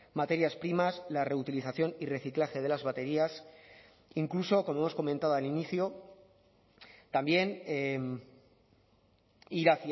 materias primas la reutilización y reciclaje de las baterías incluso como hemos comentado al inicio también ir